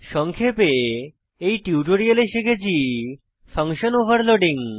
সংক্ষেপে এই টিউটোরিয়ালে শিখেছি ফাঙ্কশন ওভারলোডিং